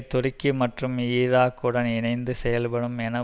துருக்கி மற்றும் ஈராக்குடன் இணைந்து செயல்படும் என